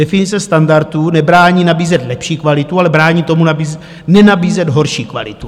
Definice standardu nebrání nabízet lepší kvalitu, ale brání tomu, nenabízet horší kvalitu.